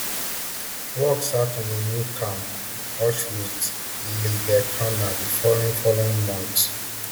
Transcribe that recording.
work start on a new camp auschwitz iibirkenau di following following month